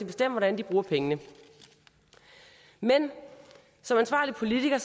bestemme hvordan de bruger pengene men som ansvarlig politiker